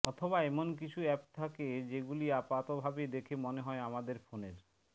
অথবা এমন কিছু অ্যাপ থাকে যেগুলি আপাত ভাবে দেখে মনে হয় আমাদের ফোনের